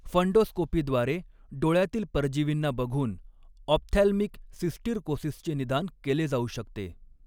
फंडोस्कोपीद्वारे डोळ्यातील परजीवींना बघून ऑप्थॅल्मिक सिस्टिरकोसिसचे निदान केले जाऊ शकते.